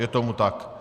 Je tomu tak.